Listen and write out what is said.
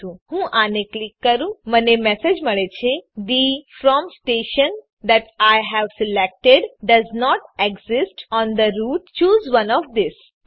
તો ચાલો હું આને ક્લિક કરું મને મેસેજ મળે છે કે the from station that I હવે selected does not exist on the route choose one of ઠેસે